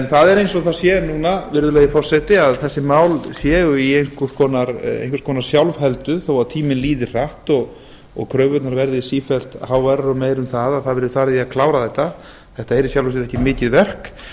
það er eins og það sé núna virðulegi forseti að þessi mál séu i einhvers konar sjálfheldu þó að tíminn líði hratt og kröfurnar verði sífellt háværari og meiri um það að það verði farið í að klára þetta þetta er í sjálfu sér ekki mikið verk þetta er nú